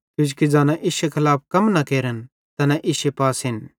किजोकि ज़ैना इश्शे खलाफ कम न केरन तैना इश्शे पासेन